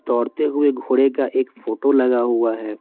दौड़ते हुए घोड़े का एक फोटो लगा हुआ है।